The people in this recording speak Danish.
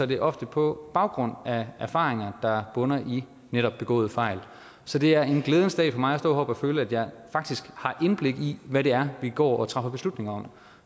det ofte på baggrund af erfaringer der bunder i netop begåede fejl så det er en glædens dag for mig at stå heroppe og føle at jeg faktisk har indblik i hvad det er vi går og træffer beslutningerne om